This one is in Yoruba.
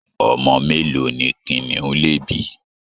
Omo melo ni kiniun le bi?